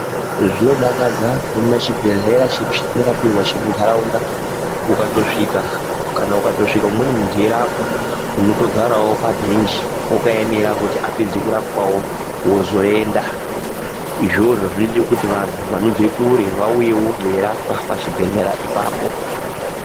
Zvinodakadza kuona chibhedhlera chedu chatinorapirwa chemundaraunda kana ukatosvika umweni mundu eyirapwa unotogarawo pabhenji wakaemera kuti apedze kurapwawo wozoenda izvozvo zvinoite kuti vandu vanobve kure vauyewo veirapwa pachibhedhlera ipapo.